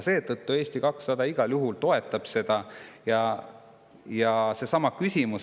Seetõttu Eesti 200 igal juhul toetab eelnõu.